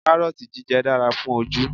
Kárọ́ọ̀tì jíjẹ dára fún ojú